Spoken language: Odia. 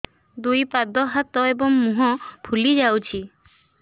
ଦୁଇ ପାଦ ହାତ ଏବଂ ମୁହଁ ଫୁଲି ଯାଉଛି